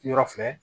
Yɔrɔ filɛ